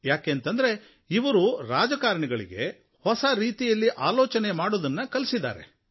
ಏಕೆಂದರೆ ಇವರು ರಾಜಕಾರಣಿಗಳಿಗೆ ಹೊಸ ರೀತಿಯಲ್ಲಿ ಆಲೋಚನೆ ಮಾಡುವುದನ್ನು ಕಲಿಸಿದ್ದಾರೆ